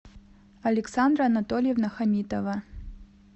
александра анатольевна хамитова